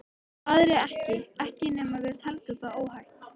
Aðrir ekki ekki nema við teldum það óhætt.